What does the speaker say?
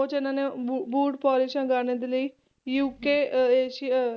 ਉਹ 'ਚ ਇਹਨਾਂ ਨੇ ਬੂ~ ਬੂਟ ਪੋਲਿਸਾਂ ਗਾਣੇ ਦੇ ਲਈ UK ਏਸ਼ੀਆ,